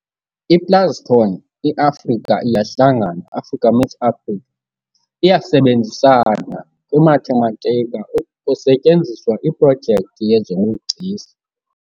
I-Plascon, "i-Africa iyahlangana", Africa meets Africa, iyasebenzisana kwimathematika kusetyenziswa iprojekthi yezobugcisa.